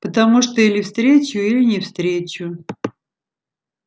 потому что или встречу или не встречу